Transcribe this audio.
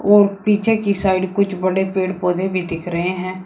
और पीछे की साइड कुछ बड़े पेड़ पौधे भी दिख रहे हैं।